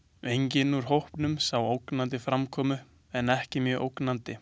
Enginn úr hópunum sá ógnandi framkomu en ekki mjög ógnandi.